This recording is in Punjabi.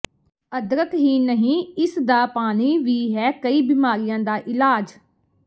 ਅਦਰਕ ਹੀ ਨਹੀਂ ਇਸਦਾ ਪਾਣੀ ਵੀ ਹੈ ਕਈ ਬਿਮਾਰੀਆਂ ਦਾ ਇਲਾਜ